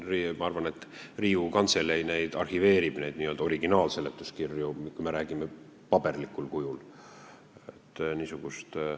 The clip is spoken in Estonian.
Ma arvan, et Riigikogu Kantselei arhiveerib neid n-ö originaalseletuskirju, kui me räägime paberkujust.